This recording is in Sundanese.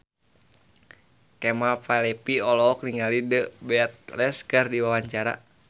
Kemal Palevi olohok ningali The Beatles keur diwawancara